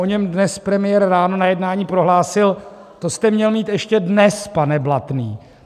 O něm dnes premiér ráno na jednání prohlásil: To jste měl mít ještě dnes, pane Blatný.